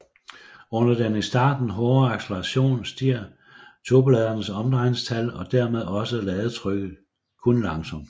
Under den i starten hårde acceleration stiger turboladerens omdrejningstal og dermed også ladetrykket kun langsomt